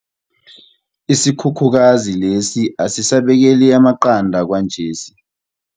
Isikhukhukazi lesi asisabekeli amaqanda kwanje.